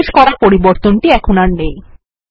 সর্বশেষ করা পরিবর্তন টি এখন আর নেই